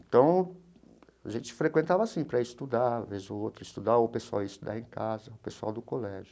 Então, a gente frequentava, assim, para estudar, vez ou outra, estudar, ou o pessoal ia estudar em casa, o pessoal do colégio.